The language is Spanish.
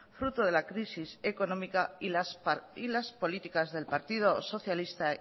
fruto de la crisis económica y las políticas del partido socialista